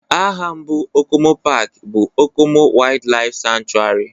Aha mbụ Okomu paaki bụ Okomu Waydlaif Sanchuari